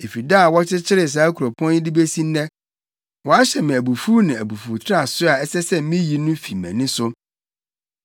Efi da a wɔkyekyeree saa kuropɔn yi de besi nnɛ, wahyɛ me abufuw ne abufuwtraso a ɛsɛ sɛ miyi no fi mʼani so.